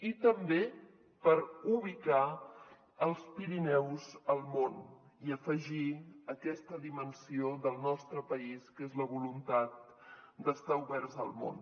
i també per ubicar els pirineus al món i afegir aquesta dimensió del nostre país que és la voluntat d’estar oberts al món